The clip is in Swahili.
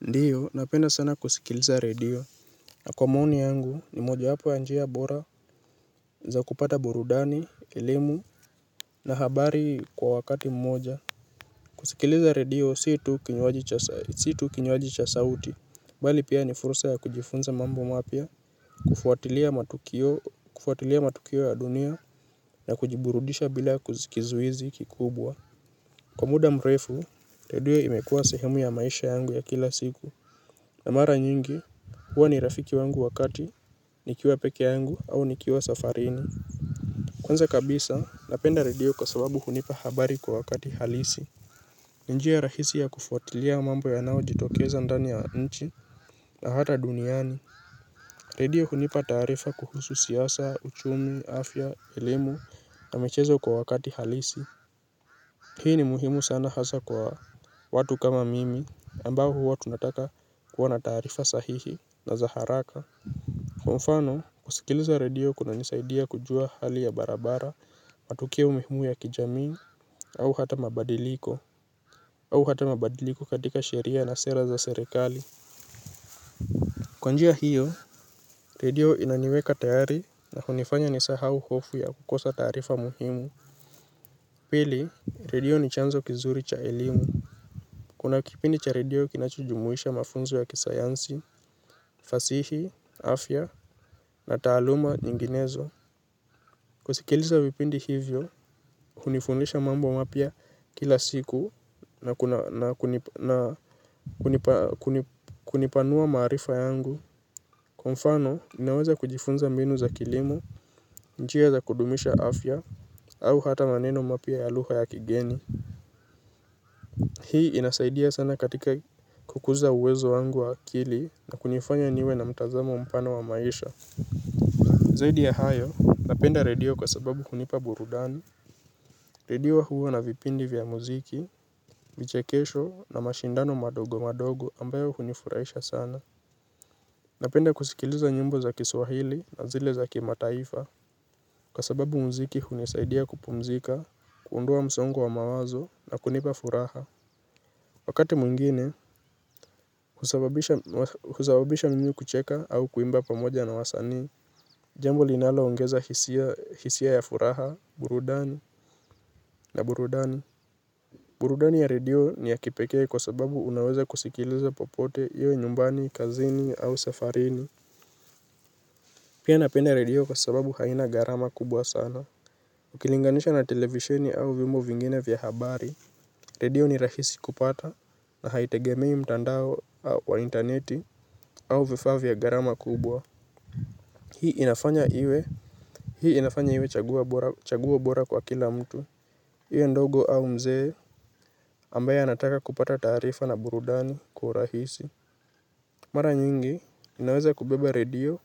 Ndiyo, napenda sana kusikiliza radio, na kwa maoni yangu ni moja hapo ya njia bora za kupata burudani, elimu, na habari kwa wakati mmoja. Kusikiliza radio situ kinyoaji cha sauti, bali pia ni fursa ya kujifunza mambo mapia, kufuatilia matukio ya dunia, na kujiburudisha bila kuzikizuizi kikubwa. Kwa muda mrefu, redio imekuwa sehemu ya maisha yangu ya kila siku. Na mara nyingi, huwa ni rafiki wangu wakati, nikiwa peke yangu au nikiwa safarini. Kwanza kabisa, napenda radio kwa sababu hunipa habari kwa wakati halisi. Ninjia rahisi ya kufuatilia mambo yanao jitokeza ndani ya nchi na hata duniani. Radio hunipa tarifa kuhusu siyasa, uchumi, afya, elimu na michezo kwa wakati halisi. Hii ni muhimu sana hasa kwa watu kama mimi, ambao huwa tunataka kuwa na tarifa sahihi na zaharaka. Kwa mfano, kusikilisa radio kuna nisaidia kujua hali ya barabara, matukio mihumu ya kijamii, au hata mabadiliko, au hata mabadiliko katika sheria na sera za serekali. Kwanjia hiyo, radio inaniweka tayari na hunifanya nisahau hofu ya kukosa tarifa muhimu. Pili, radio ni chanzo kizuri cha elimu. Kuna kipindi cha radio kinachujumuisha mafunzo ya kisayansi, fasihi, afya, na taaluma nyinginezo. Kusikiliza vipindi hivyo, hunifundisha mambo mapia kila siku na kunipanua marifa yangu. Kwa mfano, ninaweza kujifunza mbinu za kilimo, njia za kudumisha afya, au hata maneno mapia ya luha ya kigeni. Hii inasaidia sana katika kukuza uwezo wangu wa kili na kunifanya niwe na mtazamo mpana wa maisha. Zaidi ya hayo, napenda redio kwa sababu hunipa burudani. Redio hua na vipindi vya muziki, vichekesho na mashindano madogo madogo ambayo hunifuraisha sana. Napenda kusikiliza nyimbo za kiswahili na zile za kimataifa. Kwasababu muziki hunisaidia kupumzika, kuundoa msongo wa mawazo na kunipa furaha. Wakati mwingine, husababisha mimi kucheka au kuimba pamoja na wasani. Jambo linalo ongeza hisia ya furaha, burudani na burudani. Burudani ya radio ni ya kipeke kwa sababu unaweza kusikiliza popote iwe nyumbani, kazini au safarini. Pia napenda radio kwa sababu haina garama kubwa sana. Ukilinganisha na televishini au viombo vingine vya habari radio ni rahisi kupata na haitegemei mtandao wa interneti au vifa vya garama kubwa. Hii inafanya iwe chaguwo bora kwa kila mtu. Iwe ndogo au mzee ambaye anataka kupata tarifa na burudani kwa uhurahisi. Mara nyingi, ninaweza kubeba radio